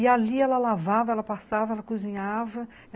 E ali ela lavava, ela passava, ela cozinhava.